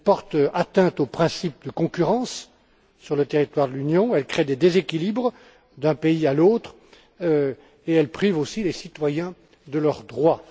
Elle porte atteinte au principe de concurrence sur le territoire de l'Union, elle crée des déséquilibres d'un pays à l'autre et elle prive aussi les citoyens de leurs droits.